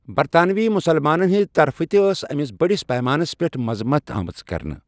برطانوی مُسلمانَن ہٕنٛدِ طرفہٕ تہِ ٲس أمِس بٔڑِس پیمانَس پٮ۪ٹھ مذمت آمٕژ کرنہٕ۔